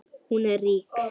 Hún er rík.